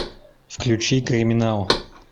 включи криминал